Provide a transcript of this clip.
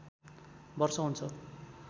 वर्ष हुन्छ